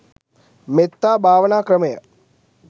මෙත්තා භාවනා ක්‍රමය